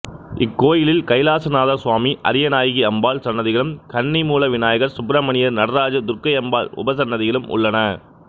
இக்கோயிலில் கைலாசநாதர் சுவாமி அரியநாயகி அம்பாள் சன்னதிகளும் கன்னிமூல விநாயகர் சப்பிரமணியர் நடராஜர் துர்க்கை அம்பாள் உபசன்னதிகளும் உள்ளன